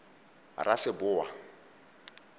raseboa